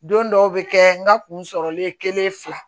Don dɔw bɛ kɛ n ka kun sɔrɔlen kelen fila